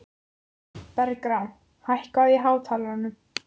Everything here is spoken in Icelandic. Bergrán, hækkaðu í hátalaranum.